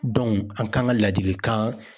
an kan ka ladilikan